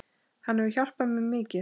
Hann hefur hjálpað mér mikið.